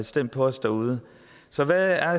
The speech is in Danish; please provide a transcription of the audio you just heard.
stemt på os derude så hvad er